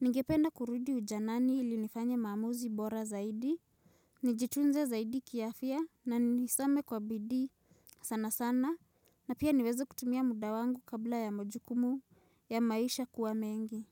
Ningependa kurudi ujanani ilinifanye maamuzi bora zaidi. Nijitunze zaidi kiafya na nisome kwa bidii sana sana na pia niweze kutumia muda wangu kabla ya majukumu ya maisha kuwa mengi.